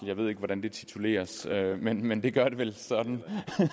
jeg ved ikke hvordan det tituleres men men det gør det vel sådan